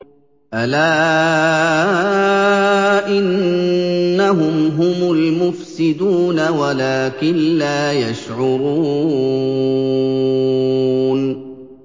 أَلَا إِنَّهُمْ هُمُ الْمُفْسِدُونَ وَلَٰكِن لَّا يَشْعُرُونَ